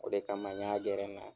O de kama n y'a gɛrɛ n na.